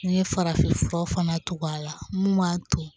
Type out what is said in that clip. N'i ye farafinfura fana tugu a la mun b'a to